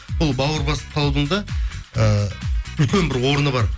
бұл бауыр басып қалудың да ііі үлкен бір орны бар